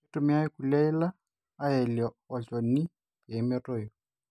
keitumiyae kulie yila ayelie olchoni pee metoyu